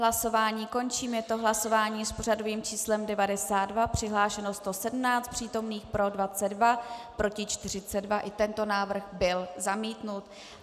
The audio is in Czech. Hlasování končím, je to hlasování s pořadovým číslem 92, přihlášeno 117 přítomných, pro 22, proti 42, i tento návrh byl zamítnut.